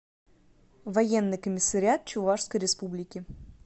военный комиссариат чувашской республики